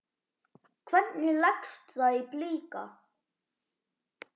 Hvernig leggst það í Blika?